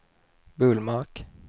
Bullmark